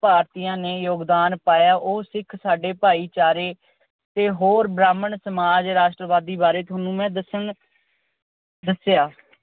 ਭਾਰਤੀਆਂ ਨੇ ਯੋਗਦਾਨ ਪਾਇਆ, ਉਹ ਸਿੱਖ ਸਾਡੇ ਭਾਈਚਾਰੇ ਤੇ ਬ੍ਰਾਹਮਣ ਸਮਾਜ ਰਾਸ਼ਟਰਵਾਦੀ ਸਮਾਜ ਬਾਰੇ ਦੱਸਣ ਅਹ ਦੱਸਿਆ।